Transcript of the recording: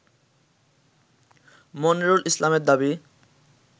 মনিরুল ইসলামের দাবি